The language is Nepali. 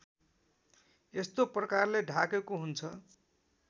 यस्तो प्रकारले ढाकेको हुन्छ